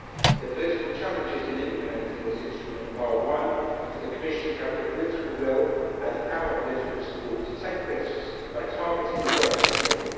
The political challenges in implementing this instrument are One, for the Commission to have the political will and our political support to take risks by targeting the greatest need.